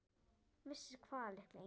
Vissi hvað, litla engi-?